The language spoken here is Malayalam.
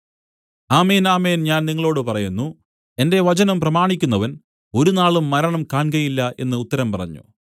ആമേൻ ആമേൻ ഞാൻ നിങ്ങളോടു പറയുന്നു എന്റെ വചനം പ്രമാണിക്കുന്നവൻ ഒരുനാളും മരണം കാൺകയില്ല എന്നു ഉത്തരം പറഞ്ഞു